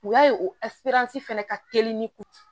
U y'a ye o fana ka teli ni kun